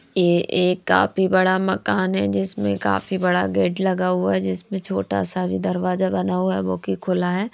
ये एक काफी बड़ा मकान है जिसमें काफी बड़ा गेट लगा हुआ है जिसमें छोटा सा भी दरवाजा बना हुआ है वो कि खुला है।